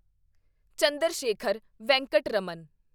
Chandrashekhar Venkata Raman